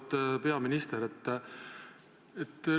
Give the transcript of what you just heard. Auväärt peaminister!